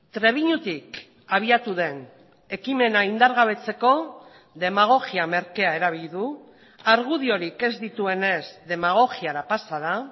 trebiñutik abiatu den ekimena indargabetzeko demagogia merkea erabili du argudiorik ez dituenez demagogiara pasa da